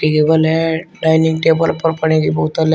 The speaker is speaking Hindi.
टेबल है डाइनिंग टेबल पर पड़ी हुई बोतल है।